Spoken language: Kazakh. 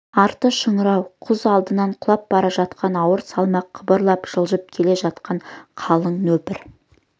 арты шыңырау құз алдынан құлап бара жатқан ауыр салмақ қыбырлап жылжып келе жатқан қалың нөпір